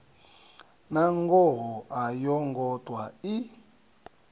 nangoho a yongo ṱwa i